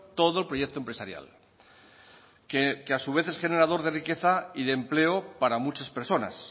todo el proyecto empresarial que a su vez es generador de riqueza y de empleo para muchas personas